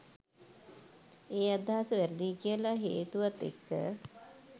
ඒ අදහස වැරදියි කියල හේතුවත් එක්ක.